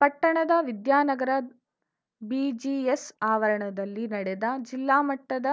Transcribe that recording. ಪಟ್ಟಣದ ವಿದ್ಯಾನಗರ ಬಿಜಿಎಸ್‌ ಆವರಣದಲ್ಲಿ ನಡೆದ ಜಿಲ್ಲಾಮಟ್ಟದ